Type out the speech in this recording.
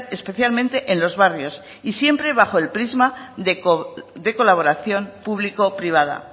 especialmente en los barrios y siempre bajo el prisma de colaboración público privada